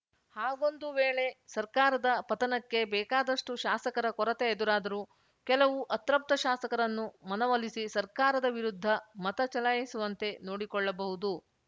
ಹಾಗೊಂದು ವೇಳೆ ಸರ್ಕಾರದ ಪತನಕ್ಕೆ ಬೇಕಾದಷ್ಟುಶಾಸಕರ ಕೊರತೆ ಎದುರಾದರೂ ಕೆಲವು ಅತೃಪ್ತ ಶಾಸಕರನ್ನು ಮನವೊಲಿಸಿ ಸರ್ಕಾರದ ವಿರುದ್ಧ ಮತ ಚಲಾಯಿಸುವಂತೆ ನೋಡಿಕೊಳ್ಳಬಹುದು